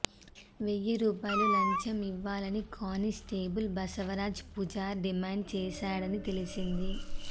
వెయ్యి రూపాయలు లంచం ఇవ్వాలని కానిస్టేబుల్ బసవరాజ్ పూజార్ డిమాండ్ చేశాడని తెలిసింది